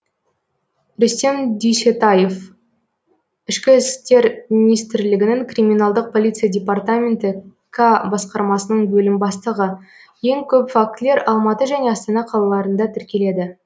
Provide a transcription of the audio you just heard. рүстем дүйсетаев ішкі істер министрлігінің криминалдық полиция департаменті к басқармасының бөлім бастығы ең көп фактілер алматы және астана қалаларында тіркеледі